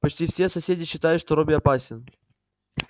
почти все соседи считают что робби опасен